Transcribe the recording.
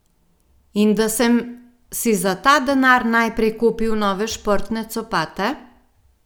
In da sem si za ta denar najprej kupil nove športne copate?